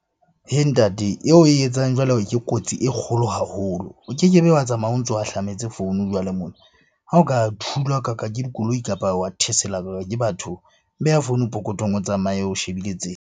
Ntate eo oe etsang jwale ke kotsi e kgolo haholo. O kekebe wa tsamaya o ntso ahlametse founu jwale mona. Ha o ka thulwakaka ke dikoloi, kapa wa thekselwaka ke batho. Beha founung pokothong o tsamaye o shebile tsela.